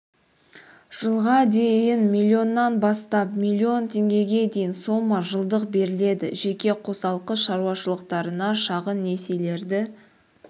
жылға дейін миллионнан бастап миллион теңгеге дейін сома жылдық беріледі жеке қосалқы шаруашылықтарына шағын несиелерді